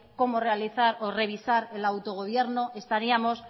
cómo realizar o revisar el autogobierno estaríamos